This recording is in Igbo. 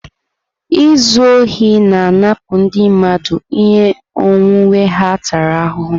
Izu ohi na-anapụ ndị mmadụ ihe onwunwe ha tara ahụhụ.